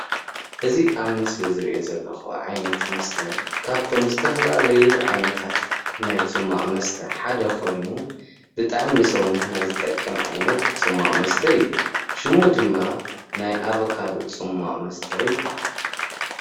እዚ ኣብ ምስሊ ዝርአ ዘለኹ ዓይነት መስተ ካብቶም ዝተፈላለዩ ዓይነታት ናይ ጽማቕ መስተ ሓደ ኮይኑ ብጣዕሚ ንሰውነትና ዝጠቅም ዓይነት ጽሟቅ መስተ እዩ። ሸሙ ድማ ናይ ኣበካዶ ጽማቕ መስተ ይበሃል።